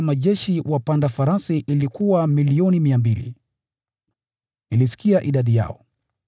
Idadi ya majeshi wapanda farasi ilikuwa 200,000,000. Nilisikia idadi yao.